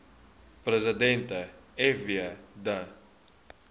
president fw de